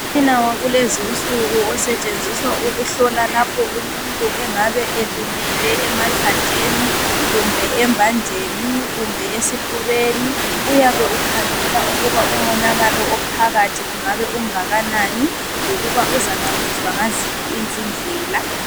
umtshina wakulezinsuku osetshenziswa ukuhlola lapho umuntu engabe elimele emathanjeni kumbe embanjeni kumbe esifubeni uyabe ukhangela ukuba umonakalo ophakathi ungabe ungakanani lokuba uzancediswa ngaziphi izindlela